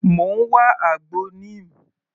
Mò ń wá àgbo Neem.